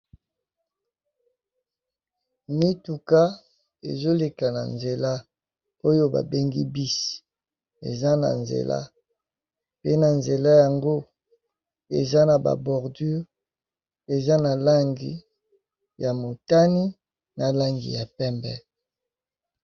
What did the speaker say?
Mituka ezoleka na nzela oyo ba bengi bus, eza na nzela pe na nzela yango eza na ba bordure eza na langi ya motani na langi ya pembe.